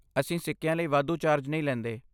ਅਸੀਂ ਸਿੱਕਿਆਂ ਲਈ ਵਾਧੂ ਚਾਰਜ ਨਹੀਂ ਲੈਂਦੇ।